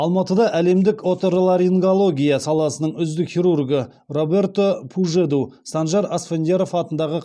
алматыда әлемдік оторларингология саласының үздік хирургы роберто пужеду санжар асфендияров атындағы